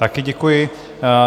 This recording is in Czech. Také děkuji.